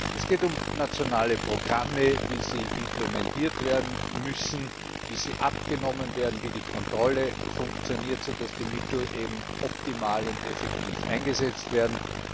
Es geht um nationale Programme, wie sie implementiert werden müssen, wie sie abgenommen werden, wie die Kontrolle funktioniert, so dass die Mittel optimal und effektiv eingesetzt werden.